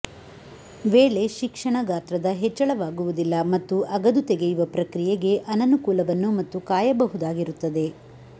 ವೇಳೆ ಶಿಕ್ಷಣ ಗಾತ್ರದ ಹೆಚ್ಚಳವಾಗುವುದಿಲ್ಲ ಮತ್ತು ಅಗದು ತೆಗೆಯುವ ಪ್ರಕ್ರಿಯೆಗೆ ಅನನುಕೂಲವನ್ನು ಮತ್ತು ಕಾಯಬಹುದಾಗಿರುತ್ತದೆ